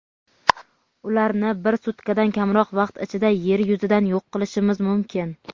ularni bir sutkadan kamroq vaqt ichida Yer yuzidan yoq qilishimiz mumkin.